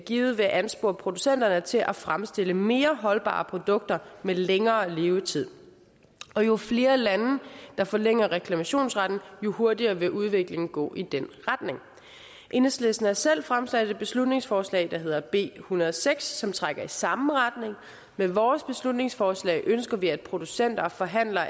givet vil anspore producenterne til at fremstille mere holdbare produkter med længere levetid jo flere lande der forlænger reklamationsretten jo hurtigere vil udviklingen gå i den retning enhedslisten har selv fremsat et beslutningsforslag der hedder b en hundrede og seks som trækker i samme retning med vores beslutningsforslag ønsker vi at producenter og forhandlere